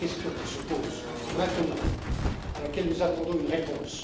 Telle est la question qui se pose maintenant et à laquelle nous attendons une réponse.